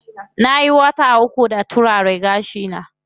Nayi wata uku da turara gashi na.